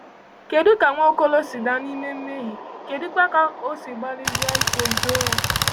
Kedụ ka Nwaokolo si daa n’ime mmehie, kedụkwa ka o si gbalịsie ike zoo ya?